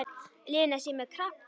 Lena sé með krabba.